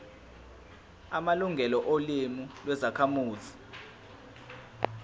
amalungelo olimi lwezakhamuzi